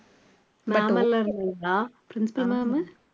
ma'am எல்லாம் இருந்தாங்களா principal ma'am உ